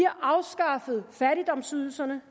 afskaffet fattigdomsydelserne